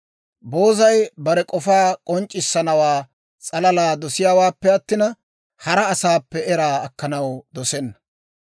Boozay bare k'ofaa k'onc'c'issanawaa s'alala dosiyaawaappe attina, hara asaappe era akkanaw dosenna.